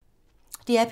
DR P3